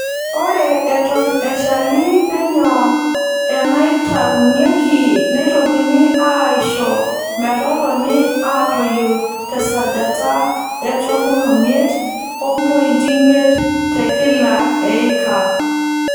Ore Eton eshali penyo eenaitaunueki neitokini aaisho metotoni aatoyu te sajata e tomon omiet ompointi imiet te kila eika.